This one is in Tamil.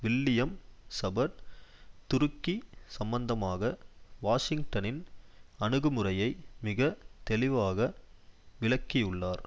வில்லியம் சபர்ட் துருக்கி சம்மந்தமாக வாஷிங்டனின் அணுகுமுறையை மிக தெளிவாக விளக்கியுள்ளார்